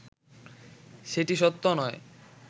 সেটি সত্য নয়